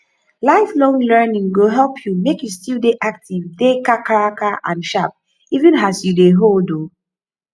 lifelong learning go help u make u still dey active dey kakaraka and sharp even as u dey old oo